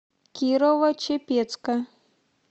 кирово чепецка